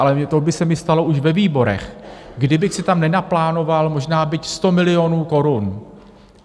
Ale to by se mi stalo už ve výborech, kdybych si tam nenaplánoval možná byť 100 milionů korun.